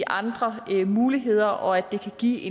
andre rimelige muligheder og at det kan give